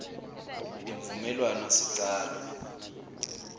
imvumelwanosicalo